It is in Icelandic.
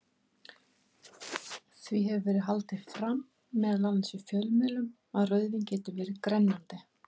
Því hefur verið haldið fram, meðal annars í fjölmiðlum, að rauðvín geti verið grennandi.